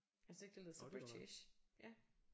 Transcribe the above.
Jeg synes ikke det lyder så british ja